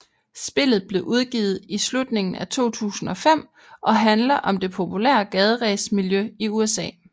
Spillet blev udgivet i slutningen af 2005 og handler om det populære gaderæs miljø i USA